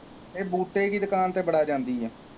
ਇਹ ਬੂਟੇ ਕੀ ਦੁਕਾਨ ਤੇ ਬੜਾ ਜਾਂਦੀ ਹੈ